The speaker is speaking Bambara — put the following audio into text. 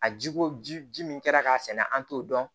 A jiko ji ji min kɛra k'a sɛnɛ an t'o dɔn